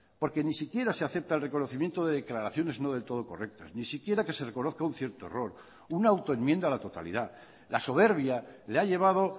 porque ni siquiera se acepta el reconocimiento de declaraciones no del todo correctas ni siquiera que se reconozca un cierto error una autoenmienda a la totalidad la soberbia le ha llevado